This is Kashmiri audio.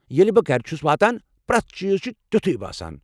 ییٚلہ بہٕ گرٕ چھُس واتان،، پریتھ چیز چُھ تِیوٗتھُے باسان ۔